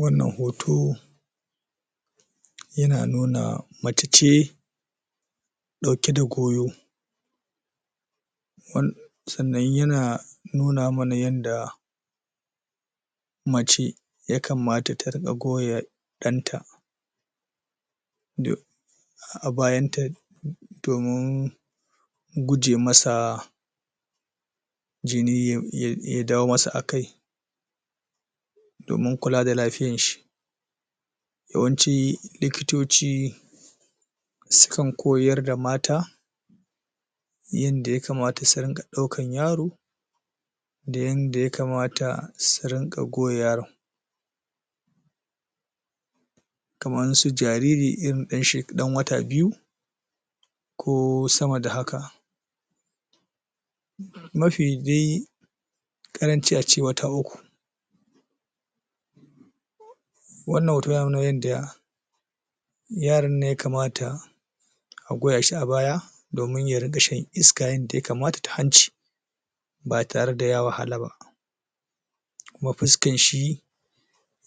wannan hoto yana nuna mace ce ɗauke da goyo um sannan yana nuna mana yanda mace ya kamaya ta riga koya ɗanta a bayanta domin guje masa jini yai ya dawo masa akai domin kula da lafiyanshi yawanci likitoci sukan koyarda mata yanda ya kamata su riƙa ɗaukar yaro da yanda ya kamata su ringa goya yaron kaman su jariri irin ɗan she ɗan wata biyu ko sama da haka ma fi ƙaranci a ce wata uku wannan nauyin da yaron nan ya kamata a goya shi a baya domin ya riƙa shan iska yanda ya kamata ta hanci ba tare da ya wahala ba kuma fuskanshi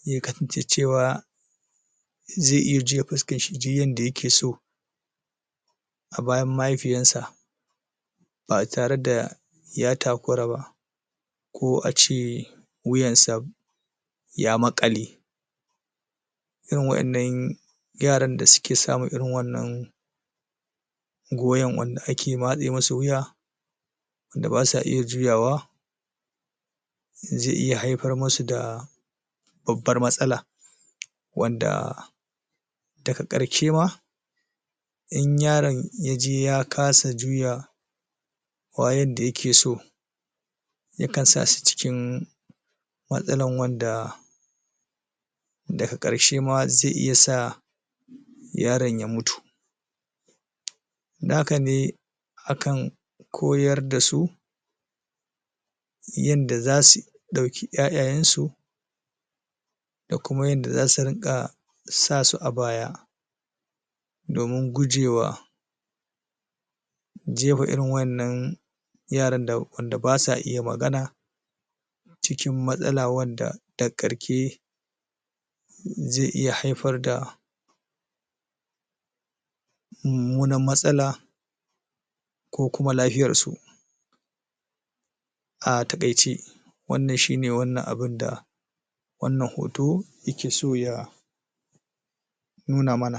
ya ka cewa zai iya juya fuskanshi duy yanda yake so a bayan mahaifiyansa ba tare da ya takura ba ko ace wuyansa ya maƙale irin wa'yannan yaran da suke samun irin wa'yan nan goyon wanda ake matse musu wuya wanda ba sa iya juyawa zai iya haifar masu da babbar matsala wanda daga ƙarshe ma in yaron ya je ya kasa juya wa yadda yake so yakan sa shi cikin matsalan wanda daga ƙarshe ma zai iya sa yaron ya mutu naka ne akan koyar da su yanda za sui ɗauki 'ya'yayansu da kuma yanda za su rinƙa sa su a baya domin gujewa jefa irin wannan yaran da wanda ba su iya magana cikin matsala wanda dag karke zai iya haifar da mummunan matsala ko kuma lafiyarsu a taƙaice wannan shi ne wannan abun da wannan hoto yake so ya nuna mana